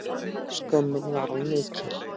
Skömmin var of mikil.